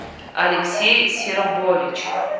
алексей серобович